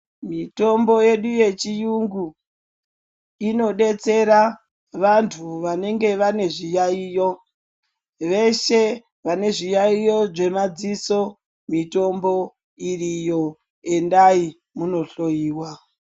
Mitombo yedu yechiyungu inobetsera vantu vanenge vane zviyaiyo. Veshe vane zviyaiyo zvemadziso mitombo iriyo endai munohloiwa.